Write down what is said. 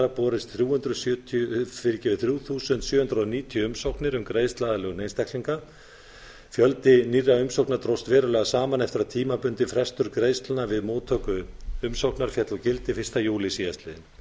borist þrjú þúsund sjö hundruð níutíu umsóknir um greiðsluaðlögun einstaklinga fjöldi nýrra umsókna dróst verulega saman eftir að tímabundin frestun greiðslna við móttöku umsóknar féll úr gildi fyrsta júlí síðastliðinn